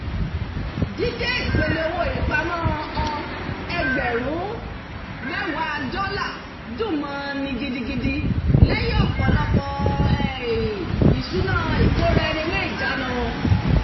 dídé ìpele owó ìpamọ́-ọ ẹgbẹ̀rún mẹ́wàá dọ́là dùn mọ́-ọn ní gidigidi lẹ́yìn ọ̀pọ̀lọpọ̀ um oṣù ìṣúná ìkóraẹniníjánu